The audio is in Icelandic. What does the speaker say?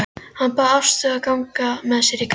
Hann bað Ástu að ganga með sér í garðinn.